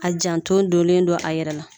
A janton donnen don a yɛrɛ la